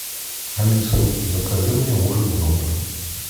алиса закажи мне ужин в номер